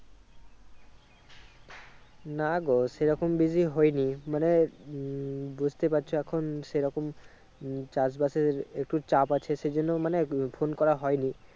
নাগো সেইরকম busy হয়নি মানে হম বুজতে পারছো এখন সেই রকম হম চাষ বাসের একটু চাপ আছে সেই জন্য মানে phone করা হয়নি।